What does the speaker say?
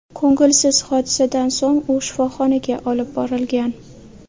Ko‘ngilsiz hodisadan so‘ng u shifoxonaga olib borilgan.